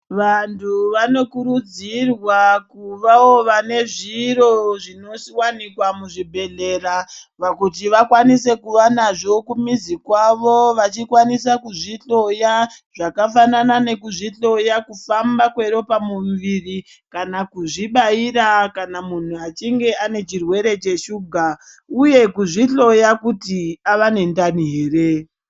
Vantu vanokurudzirwa kuvawo vane zviro zvinowanikwa muzvibhedhlera kuti vakwanise kuva nazvo kumizi kwavo vachikwanisa kuzvihloya. Zvakafanana nekuzvihloya kufamba kweropa mumuviri kana kuzvibaira kana muntu achinge ane chirwere cheshuga uye kuzvihloya kuti ava nendani ere.